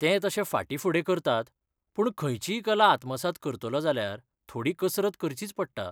ते तशे फाटींफुडें करतात पूण खंयचीय कला आत्मसात करतलो जाल्यार थोडी कसरत करचीच पडटा.